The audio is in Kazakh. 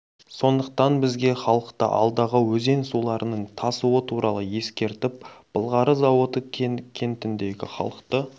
сондықтан бізге халықты алдағы өзен суларының тасуы туралы ескертіп былғары зауыты кентіндегі халықты